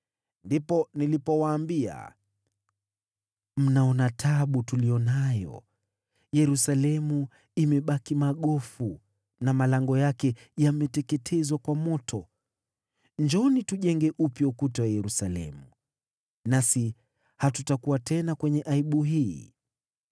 Ndipo nilipowaambia, “Mnaona taabu tuliyo nayo: Yerusalemu imebaki magofu na malango yake yameteketezwa kwa moto. Njooni tujenge upya ukuta wa Yerusalemu, nasi hatutakuwa tena katika aibu hii.”